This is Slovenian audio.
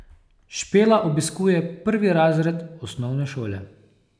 Špela obiskuje prvi razred osnovne šole.